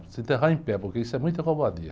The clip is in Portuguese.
Se enterrar em pé, porque isso é muita covardia.